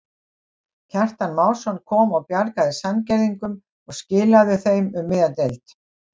Kjartan Másson kom og bjargaði Sandgerðingum og skilaðu þeim um miðja deild.